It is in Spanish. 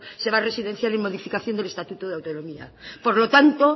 se va a residenciar en modificación del estatuto de autonomía por lo tanto